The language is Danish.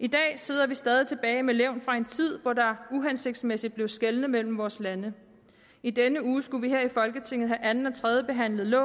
i dag sidder vi stadig tilbage med levn fra en tid hvor der uhensigtsmæssigt blev skelnet mellem vores lande i denne uge skulle vi her i folketinget have anden og tredjebehandlet